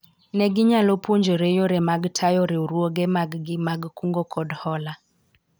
ne ginyalo puonjore yore mag tayo riwruoge mag gi mag kungo kod hola